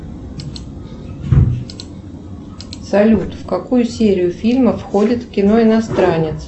салют в какую серию фильма входит кино иностранец